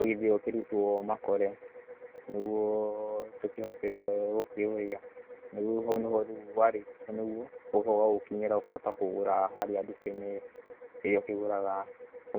ũgĩthĩo ũkĩrutwo makore nĩguo tũkihote gũkĩũrĩa. Hau nĩho rĩu warĩkia nĩguo ũgocoka ũgagũkinyĩra ũkahota kũgũra harĩa ndukainĩ ĩrĩa ũkĩgũraga